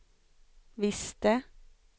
visste